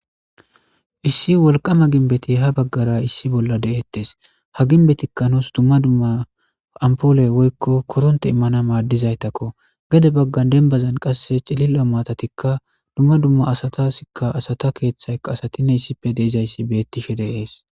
Issi wolqama vimbeti ha bagara issi bolla de'etes ha gimbetika nus duma duma ampole woylo koronte imana madizaytako gede bagan dembazan qase cililoaatatika duma duma asataska asata keethayka asatika ossippe de'izaysi beetishe de'es.